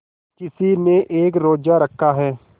किसी ने एक रोज़ा रखा है